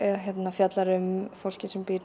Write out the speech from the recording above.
fjallar um fólkið sem býr